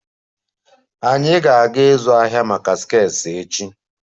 Anyị ga-aga ịzụ ahịa maka skirts echi